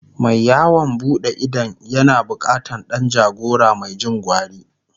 Mai yawon buɗe idon yana bukatan Dan jagora Mai Jin gwari